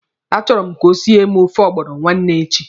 A chọrọ m ka o siere m ofe ọgbọnọ nwanne echi.